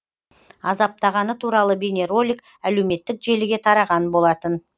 азаптағаны туралы бейнеролик әлеуметтік желіге тараған болатын